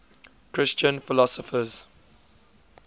christian philosophers